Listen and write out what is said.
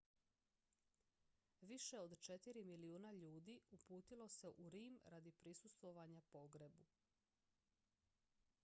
više od četiri milijuna ljudi uputilo se u rim radi prisustvovanja pogrebu